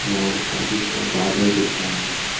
और काफी बादल दिख रहा है।